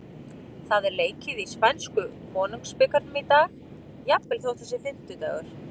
Það er leikið í spænsku Konungsbikarnum í dag, jafnvel þótt það sé kominn fimmtudagur.